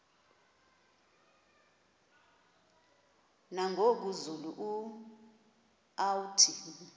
nangoku zulu uauthi